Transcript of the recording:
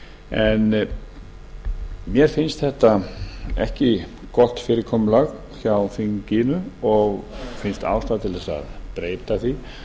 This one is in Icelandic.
en mér finnst þetta ekki gott fyrirkomulag hjá þinginu og finnst ástæða til að breyta því